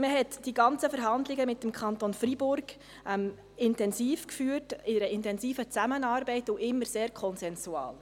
Man hat die ganzen Verhandlungen mit dem Kanton Freiburg intensiv geführt, in einer intensiven Zusammenarbeit und immer sehr konsensual.